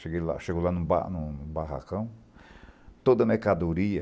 Cheguei lá, chego lá no ba no no barracão, toda mercadoria,